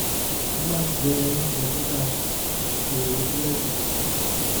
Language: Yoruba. mo máa ń jẹ oúnjẹ tó dára kì í ṣe búrẹ́dì púpọ̀